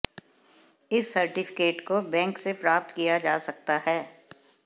इस सर्टिफिकेट को बैंक से प्राप्त किया जा सकता है